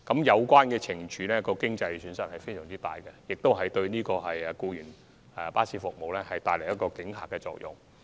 有關懲處造成的經濟損失相當大，亦會對違規提供僱員服務的公司產生阻嚇作用。